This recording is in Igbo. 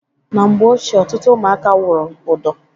Na mgbe ochie ọtụtụ ụmụaka wụrụ ụdọ.